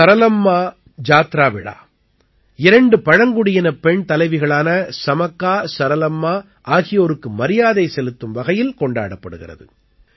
சரலம்மா ஜாத்ரா விழா இரண்டு பழங்குடியினப் பெண் தலைவிகளான சமக்கா சரலம்மா ஆகியோருக்கு மரியாதை செலுத்தும் வகையில் கொண்டாடப்படுகிறது